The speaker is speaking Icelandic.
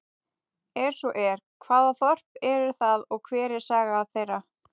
Er svo er, hvaða þorp eru það og hver er saga þeirra?